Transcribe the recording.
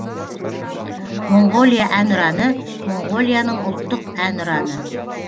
моңғолия әнұраны моңғолияның ұлттық әнұраны